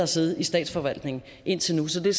siddet i statsforvaltningen indtil nu så det er